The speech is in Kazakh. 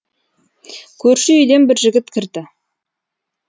көрші үйден бір жігіт кірді